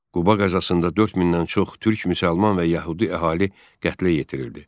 Quba qəzasında 4000-dən çox türk müsəlman və yəhudi əhali qətlə yetirildi.